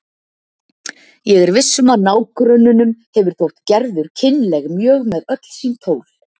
Ég er viss um að nágrönnunum hefur þótt Gerður kynleg mjög með öll sín tól.